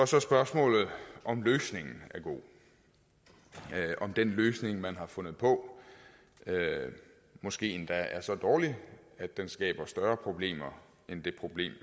så er spørgsmålet om løsningen er god om den løsning man har fundet på måske endda er så dårlig at den skaber større problemer end det problem